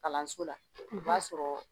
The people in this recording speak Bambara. Kalanso la o b'a sɔrɔ